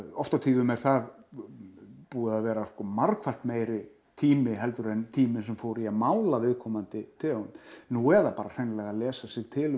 oft og tíðum er það búið að vera margfalt meiri tími heldur en tíminn sem fór í að mála viðkomandi tegund nú eða bara hreinlega lesa sér til um